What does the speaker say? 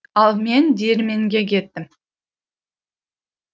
ал мен диірменге кеттім